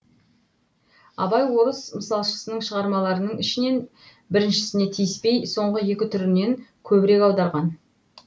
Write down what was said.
абай орыс мысалшысының шығармаларының ішінен біріншісіне тиіспей соңғы екі түрінен көбірек аударған